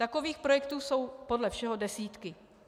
Takových projektů jsou podle všeho desítky.